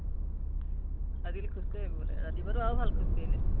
আজিকালি খোজ কাঢ়ি আহিব লাগে। ৰাতিপুৱাতো আৰু ভাল খোজ কাঢ়িলে